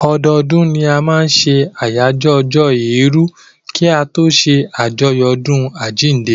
Ọdọdún ni a máa n ṣe àyájọ́ ọjọ́ èèrù kí a tó ṣé àjọyọ̀ ọdún àjínde